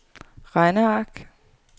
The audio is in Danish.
regneark